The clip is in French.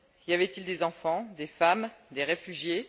Y avait il des enfants, des femmes, des réfugiés?